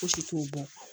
Fosi t'o bɔ